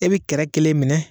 I bɛ kɛrɛ kelen minɛ.